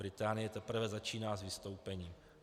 Británie teprve začíná s vystoupením.